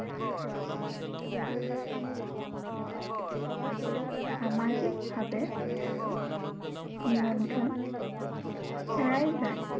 সামাজিক ভাৱে নিয়ন্ত্ৰণ হেৰাই যায়।